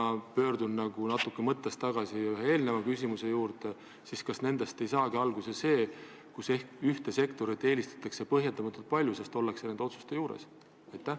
Ma pöördun natuke tagasi ühe eelneva küsimuse juurde: kas sellest ei saagi alguse see, et ühte sektorit eelistatakse põhjendamatult palju, sest need inimesed on nende otsuste juures?